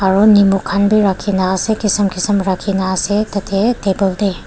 aro nimok khan wii rakhigena ase kisum kisum rakhi ase tateh table teh.